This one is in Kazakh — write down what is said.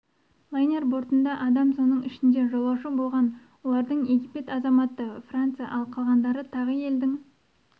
лайнер бортында адам соның ішінде жолаушы болған олардың египет азаматы франция ал қалғандары тағы елдің